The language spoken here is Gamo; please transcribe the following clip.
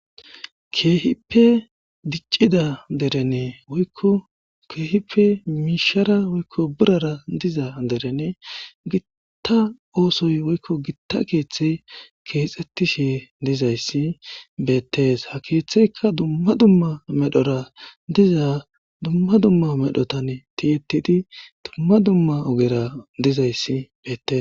keehippe diccida derenee woyko keehippe miishara woykko birara diza derene gitta oosoy woykko gitta keeththey keexxettishe dizayssi beettees, ha keeththeyka dumma dumma medhora diza dumma dumma medhotan tiyetidi dumma dumma ogera dizayssi bettes